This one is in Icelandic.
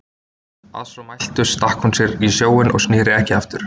Að svo mæltu stakk hún sér í sjóinn og sneri ekki aftur.